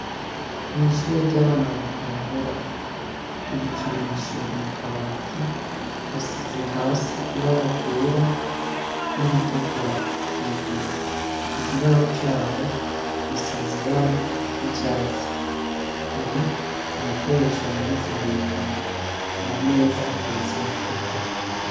Mwishure ryabana bagitangura, ibikinisho biri mukabati hasize ibara ryera niritukura hejuru ikibaho caho gisize ibara ryicatsi hari ibikoresho bimanitse hejuru kumameza hateretse amacupa.